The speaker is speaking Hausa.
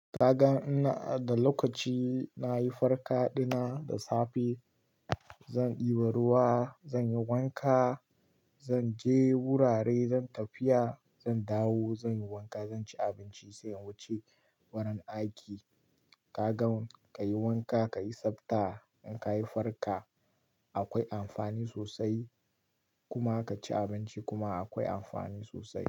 Ka gan ina da lokaci nayi farka dina da safe, zan ɗiba ruwa, zan yi wanka, zan je wurare, zan tafiya, zan dawo, zan yi wanka, zan ci abinci sai in wuce wurin aiki. Ka ga ka yi wanka, ka yi tsabta, in ka yi farka akwai amfani sosai kuma ka ci abinci kuma akwai amfani sosai.